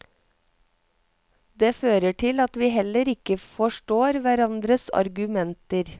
Det fører til at vi heller ikke forstår hverandres argumenter.